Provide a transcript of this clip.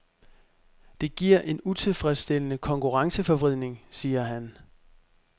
Det giver en utilfredsstillende konkurrenceforvridning, siger han.